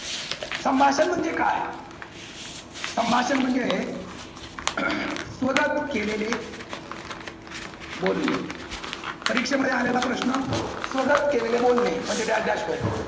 संभाषण म्हणजे काय? संभाषण म्हणजे स्वतःच केलेले बोलणे. परीक्षेमध्ये आलेला प्रश्न स्वतःच केलेले बोलणे म्हणजे dash dash